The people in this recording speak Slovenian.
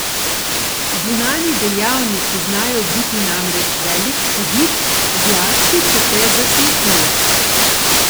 Zunanji dejavniki znajo biti namreč velik hudič, zlasti če te zaslepijo.